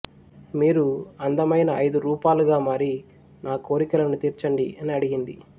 మీరు అందమైన ఐదు రూపాలుగా మారి నా కోరికలను తీర్చండి అని అడిగింది